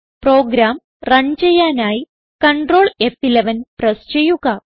programme run ചെയ്യാനായി Ctrl ഫ്11 press ചെയ്യുക